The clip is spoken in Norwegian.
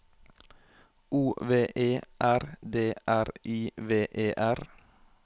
O V E R D R I V E R